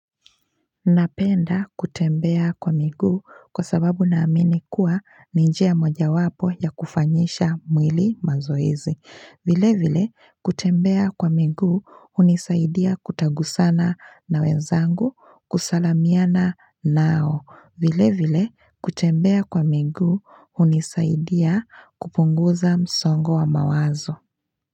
Napenda kutembea kwa miguu kwa sababu naamini kuwa ni njia mojawapo ya kufanyisha mwili mazoezi, vile vile kutembea kwa miguu hunisaidia kutagusana na wenzangu kusalamiana nao, vile vile kutembea kwa miguu hunisaidia kupunguza msongo wa mawazo.